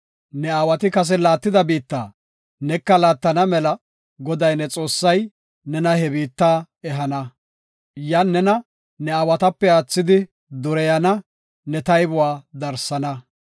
Ne aawati kase laattida biitta, neka laattana mela Goday, ne Xoossay nena he biitta ehana. Yan nena ne aawatape aathidi dureyana; ne taybuwa darsana.